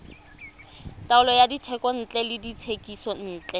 taolo ya dithekontle le dithekisontle